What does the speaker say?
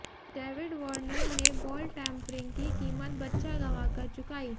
David Warner ने ball tampering की कीमत बच्चा गंवाकर चुकाई